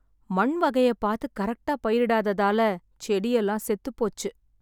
மண் வகைய பார்த்து கரெக்டா பயிரிடாததால, செடி எல்லாம் செத்துப்போச்சு.